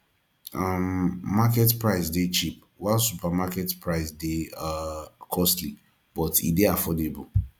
um market price dey cheap while supermarket price de um costly but e de affordable